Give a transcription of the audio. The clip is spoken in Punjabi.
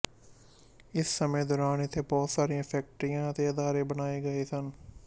ਇਸ ਸਮੇਂ ਦੌਰਾਨ ਇੱਥੇ ਬਹੁਤ ਸਾਰੀਆਂ ਫ਼ੈਕਟਰੀਆਂ ਅਤੇ ਅਦਾਰੇ ਬਣਾਏ ਗਏ ਸਨ